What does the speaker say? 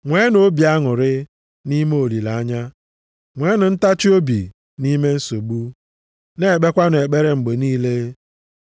Nweenụ obi aṅụrị nʼime olileanya, nweenụ ntachiobi nʼime nsogbu, na-ekpekwanụ ekpere mgbe niile.